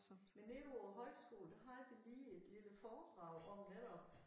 Men nede på æ højskole der har vi lige et lille foredrag om netop